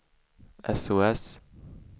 sos